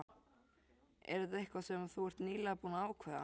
Er þetta eitthvað sem þú ert nýlega búinn að ákveða.